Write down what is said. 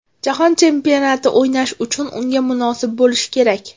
Jahon chempionatida o‘ynash uchun unga munosib bo‘lish kerak.